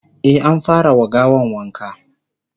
e an fara wa gawan wanka